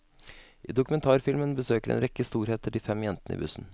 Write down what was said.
I dokumentarfilmen besøker en rekke storheter de fem jentene i bussen.